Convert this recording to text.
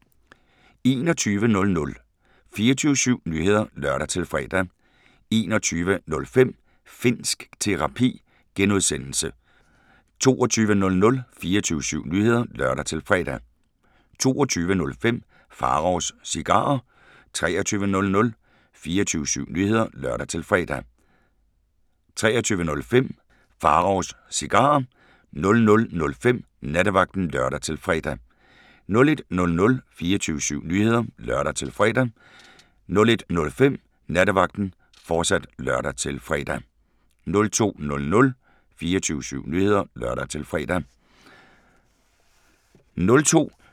21:00: 24syv Nyheder (lør-fre) 21:05: Finnsk Terapi (G) 22:00: 24syv Nyheder (lør-fre) 22:05: Pharaos Cigarer 23:00: 24syv Nyheder (lør-fre) 23:05: Pharaos Cigarer 00:05: Nattevagten (lør-fre) 01:00: 24syv Nyheder (lør-fre) 01:05: Nattevagten, fortsat (lør-fre) 02:00: 24syv Nyheder (lør-fre)